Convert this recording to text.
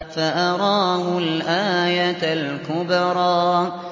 فَأَرَاهُ الْآيَةَ الْكُبْرَىٰ